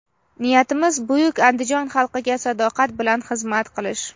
Niyatimiz — buyuk Andijon xalqiga sadoqat bilan xizmat qilish.